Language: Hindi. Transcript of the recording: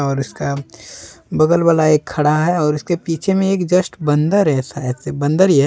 और इसका बगल वाला एक खड़ा है और उसके पीछे में एक जस्ट बंदर है शायद से बंदर ही है।